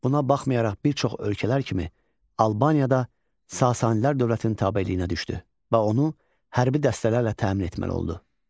Buna baxmayaraq bir çox ölkələr kimi Albaniya da Sasanilər dövlətinin tabeliyinə düşdü və onu hərbi dəstələrlə təmin etməli oldu.